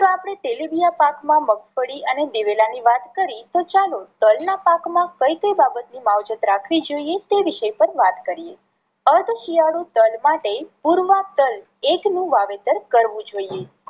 આપણે તેલીબિયા પાક માં મગફળી અને દિવેલા ની વાત કરી તો ચાલો તલ ના પાક માં કઈ કઈ બાબત ની માવજત રાખવી જોઈએ તે વિષે પણ વાત કરીએ. અર્ધ શિયાળુ તલ માટે પૂર્વા તલ એક નું વાવેતર કરવું જોઈએ.